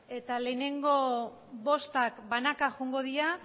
eta lehenengo bostak banaka joango dira